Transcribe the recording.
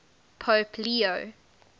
pope leo